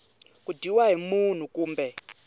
ku dyiwa hi munhu kumbe